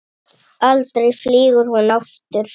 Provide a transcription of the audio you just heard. Aldrei flýgur hún aftur